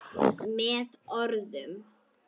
Með orðum.